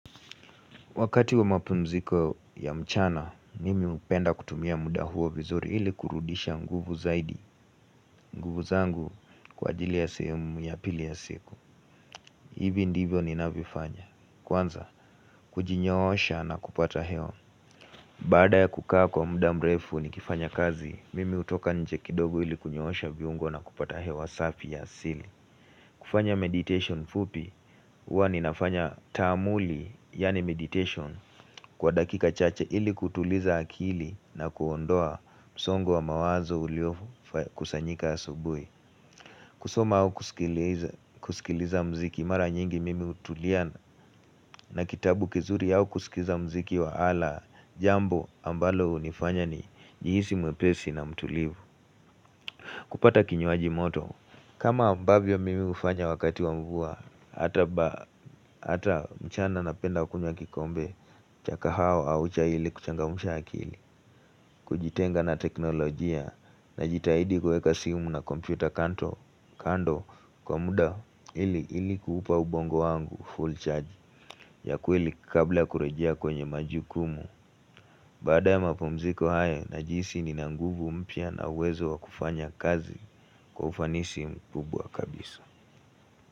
Wakati wa mapumziko ya mchana, mimi upenda kutumia muda huo vizuri ili kurudisha nguvu zaidi, nguvu zangu kwa jili ya sehemu ya pili ya siku. Ivi ndivyo ni navifanya. Kwanza, kujinyoosha na kupata hewa. Baada ya kukaa kwa muda mrefu nikifanya kazi, mimi utoka nje kidogo ili kunyoosha viungo na kupata heo wasafi ya sili. Kufanya meditation fupi uwa ninafanya taamuli yani meditation kwa dakika chache ili kutuliza akili na kuondoa msongo wa mawazo uliokusanyika asubuhi kusoma au kusikiliza mziki mara nyingi mimi utulia na kitabu kizuri au kusikiza mziki wa ala jambo ambalo unifanya ni jihisi mwepesi na mtulivu kupata kinyuaji moto, kama ambavyo mimi ufanya wakati wa mvua, hata mchana napenda wakunywa kikombe, cha kahawa au chai hili kuchangamusha akili, kujitenga na teknolojia, na jitahidi kueka simu na kompyuta kando kwa muda hili kuhupa ubongo wangu full charge, ya kuili kabla kurejia kwenye majukumu. Bada ya mapomziko haya na jisi nina nguvu mpya na uwezo wa kufanya kazi kufanisi mkubwa kabisa.